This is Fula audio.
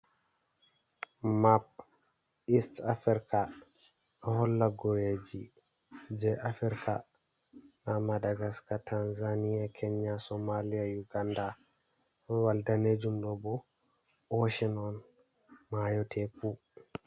Map ist afirika ɗo holla goweji je afirika, nda madagaska, tanzaniya, kenya, somaliya yuganda, wal danejumɗo bo oshen on mayo teku.